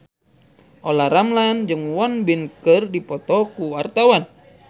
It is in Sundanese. Olla Ramlan jeung Won Bin keur dipoto ku wartawan